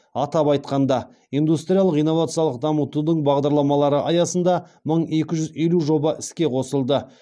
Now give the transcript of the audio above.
атап айтқанда индустриялық инновациялық дамытудың бағдарламалары аясында мың екі жүз елу жоба іске қосылды